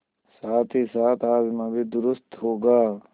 साथहीसाथ हाजमा भी दुरूस्त होगा